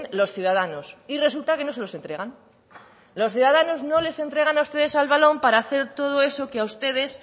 los ciudadanos y resulta que no se los entregan los ciudadanos no les entregan a ustedes el balón para hacer todo eso que a ustedes